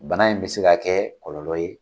Bana in bɛ se ka kɛ kɔlɔlɔlɔ ye